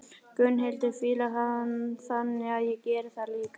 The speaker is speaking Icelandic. Gunnhildur fílar hann, þannig að ég geri það líka.